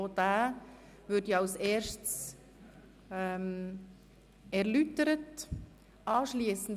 Auch diesen würde ich als Erstes erläutern lassen.